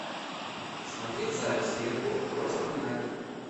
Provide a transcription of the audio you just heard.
смотреть запись ливерпуль против юнайтед